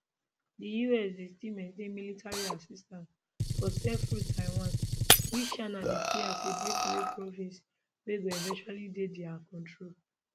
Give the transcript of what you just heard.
di us dey still maintain military assistance for selfruled taiwan which china dey see as a breakaway province wey go eventually dey dia control